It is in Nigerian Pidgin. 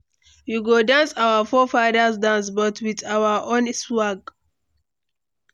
We go dance our forefathers dance, but with our own swag.